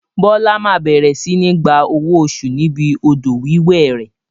Bola máa bẹ̀rẹ̀ sini gba owó oṣù níbi odò wíwẹ̀ rẹ.